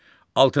Altıncı.